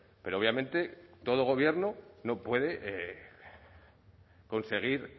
pero obviamente todo gobierno no puede conseguir